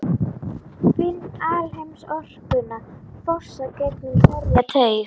Finn alheimsorkuna fossa gegnum hverja taug.